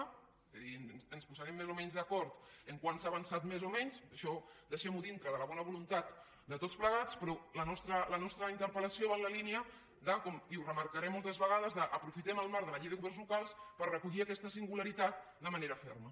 vull dir ens posarem més o menys d’acord en si s’ha avançat més o menys això deixem ho dintre de la bona voluntat de tots plegats però la nostra interpellació va en la línia i ho remarcaré moltes vegades de aprofitem el marc de la llei de governs locals per recollir aquesta singularitat de manera ferma